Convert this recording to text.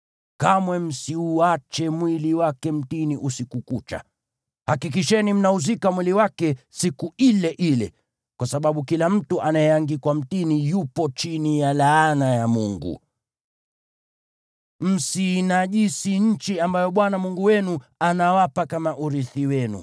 kamwe msiuache mwili wake mtini usiku kucha. Hakikisheni mnauzika mwili wake siku ile ile, kwa sababu kila mtu anayeangikwa mtini yupo chini ya laana ya Mungu. Msiinajisi nchi ambayo Bwana Mungu wenu anawapa kama urithi wenu.